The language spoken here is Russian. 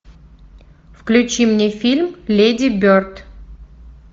включи мне фильм леди берд